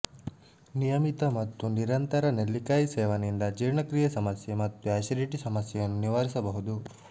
ನಿಯಮಿತ ಮತ್ತು ನಿರಂತರ ನೆಲ್ಲಿಕಾಯಿ ಸೇವನೆಯಿಂದ ಜೀರ್ಣಕ್ರಿಯೆ ಸಮಸ್ಯೆ ಮತ್ತು ಅಸಿಡಿಟಿ ಸಮಸ್ಯೆಯನ್ನು ನಿವಾರಿಸಬಹುದು